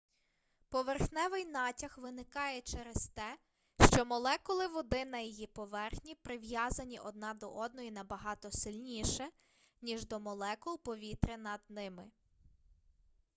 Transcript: поверхневий натяг виникає через те що молекули води на її поверхні прив'язані одна до одної набагато сильніше ніж до молекул повітря над ними